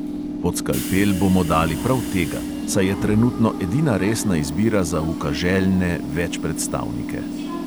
Pod skalpel bomo dali prav tega, saj je trenutno edina resna izbira za ukaželjne večpredstavnike.